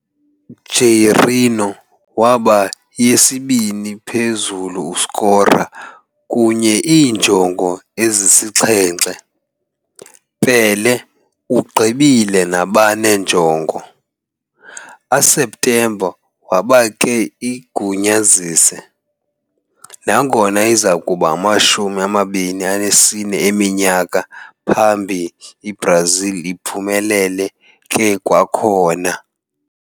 Jairzinho waba yesibini phezulu scorer kunye iinjongo ezisixhenxe, Pelé ugqibile nabane njongo. A septemba waba ke igunyazise, nangona izakuba 24 eminyaka phambi Brazil uphumelele ke kwakhona.